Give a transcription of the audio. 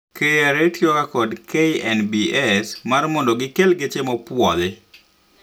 KRA tiyoga kod KNBS mar mondo gikel geche mopwodhi